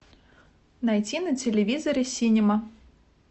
найти на телевизоре синема